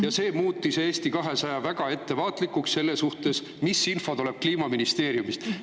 Ja see on muutnud meid Eesti 200-s väga ettevaatlikuks selle suhtes, mis info tuleb meile Kliimaministeeriumist.